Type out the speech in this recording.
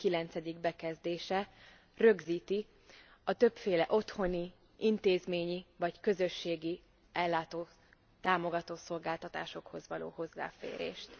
19. bekezdése rögzíti a többféle otthoni, intézményi vagy közösségi ellátó, támogató szolgáltatásokhoz való hozzáférést.